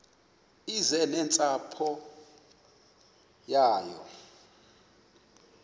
eze nentsapho yayo